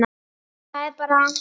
Það er bara.